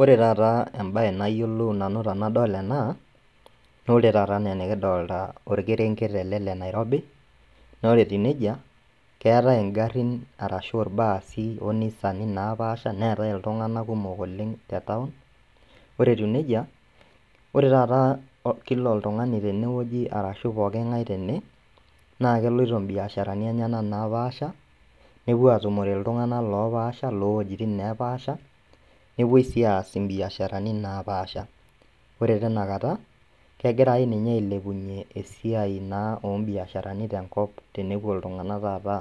Ore tata embaye nayiolou nanu tenadol ena naore tata anaa enikidolta olkerenket ele le Nairobi, naore etiu neija keetai ingarrin arashu ilbaasi onisani naapaasha neetai iltung'anak kumok oleng' tetaun, ore etiu neija ore tata kila oltung'ani tenewueji arashu pooking'ai tene naakeloito imbiasharani enyena naapaasha nepuo atumore iltung'ana loopasha lowuejitin neepaasha nepuoi sii aas imbiasharani naapaasha. Ore tinakata kegirai ninye ailepunye esiai naa ombiasharani tenkop tenepuo iltung'anak tata